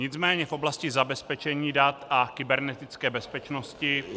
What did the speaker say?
Nicméně v oblasti zabezpečení dat a kybernetické bezpečnosti -